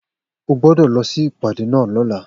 O gbódò lọ sí ìpàdé náà lóla